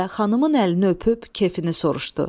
Və xanımın əlini öpüb kefini soruşdu.